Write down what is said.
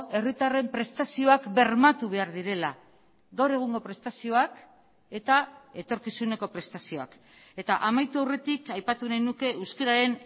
herritarren prestazioak bermatu behar direla gaur egungo prestazioak eta etorkizuneko prestazioak eta amaitu aurretik aipatu nahi nuke euskararen